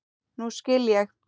Nú skil ég.